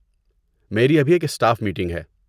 میری ابھی ایک اسٹاف میٹنگ ہے۔